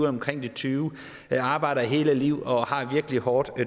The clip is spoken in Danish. omkring tyve år og arbejder hele livet og har et virkelig hårdt